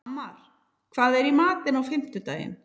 Tamar, hvað er í matinn á fimmtudaginn?